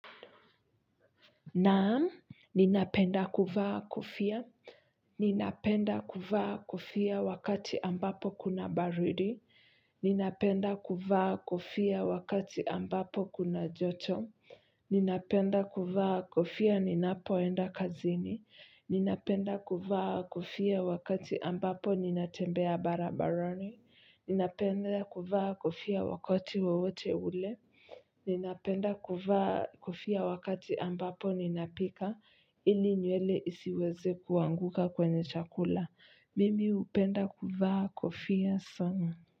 Naam, ninapenda kuvaa kofia, ninapenda kuvaa kofia wakati ambapo kuna baridi, ninapenda kuvaa kofia wakati ambapo kuna joto, ninapenda kuvaa kofia ninapoenda kazini, ninapenda kuvaa kofia wakati ambapo ninatembea barabarani, ninapenda kuvaa kofia wakati wowote ule, ninapenda kuvaa kofia wakati ambapo ninapika ili nywele isiweze kuanguka kwenye chakula. Mimi hupenda kuvaa kofia sana.